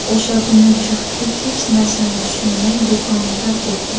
O‘sha kuni juftlik hech narsani tushunmay, do‘konni tark etdi.